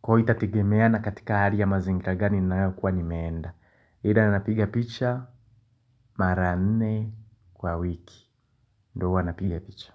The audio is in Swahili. Kwa itategemeana katika hali ya mazingiragani ninayo kuwa nimeenda ila napiga picha mara nne kwa wiki. Ndo huwa napiga picha.